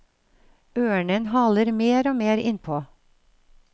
Ørnen haler mer og mer innpå.